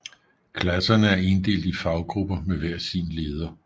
Klasserne er inddelt i faggrupper med hver sin leder